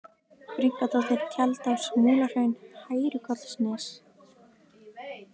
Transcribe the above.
Brynkadóttir, Tjaldás, Múlahraun, Hærukollsnes